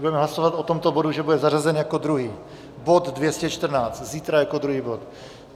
Budeme hlasovat o tomto bodu, že bude zařazen jako druhý, bod 214, zítra jako druhý bod.